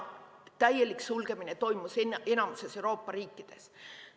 Täielik sulgemine toimus enamikus Euroopa riikides.